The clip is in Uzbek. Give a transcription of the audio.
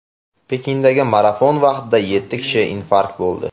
Pekindagi marafon vaqtida yetti kishi infarkt bo‘ldi.